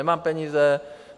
Nemám peníze.